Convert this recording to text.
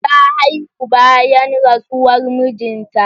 Ta haihu bayan rasuwar mijin ta